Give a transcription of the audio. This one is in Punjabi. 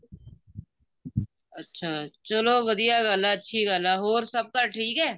ਅੱਛਾ ਚੱਲੋ ਵਧੀਆ ਗੱਲ ਐ ਅੱਛੀ ਗੱਲ ਐ ਹੋਰ ਸਭ ਘਰ ਠੀਕ ਐ